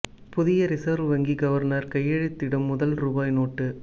புதிய ரிசர்வ் வங்கி கவர்னர் கையெழுத்திடும் முதல் ரூபாய் நோட்டு